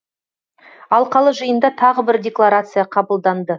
алқалы жиында тағы бір декларация қабылданды